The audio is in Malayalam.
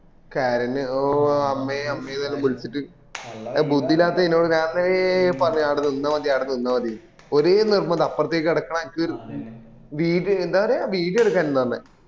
കരിഞ്ഞ ഓ അമ്മെ അമ്മേന്നെല്ലും വിളിച് ബുദ്ധി ഇല്ലതെനോട് ഞാൻ അന്നേരെ പറഞ്ഞിന് ആട നിന്ന മതി ആട നിന്ന മതീന്ന് ഒരേ നിർബന്ധം എനിക്ക് അപ്രത്തെക്ക് കടക്കണം വീതി എന്താ പറയാ video എടുക്കന്ന പറഞ്ഞെ